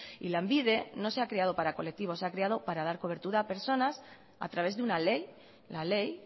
y lanbide no se ha creado para colectivos se ha creado para dar cobertura a personas a través de una ley la ley